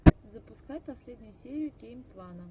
запускай последнюю серию геймплана